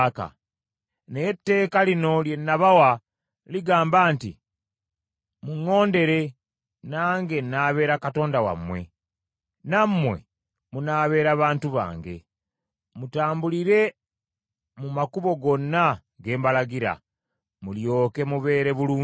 Naye etteeka lino lye nabawa ligamba nti, ‘Muŋŋondere, nange nnaabeera Katonda wammwe, nammwe munaabeera bantu bange. Mutambulire mu makubo gonna ge mbalagira, mulyoke mubeere bulungi.’